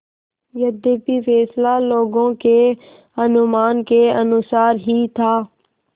यद्यपि फैसला लोगों के अनुमान के अनुसार ही था